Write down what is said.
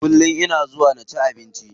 Kullum ina zuwa na ci abinci.